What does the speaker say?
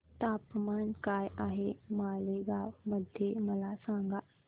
तापमान काय आहे मालेगाव मध्ये मला सांगा